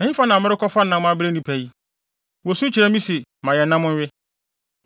Ɛhefa na merekɔfa nam abrɛ nnipa yi? Wosu kyerɛ me se, ‘Ma yɛn nam nwe!’